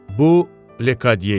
Bu Lekadiyə idi.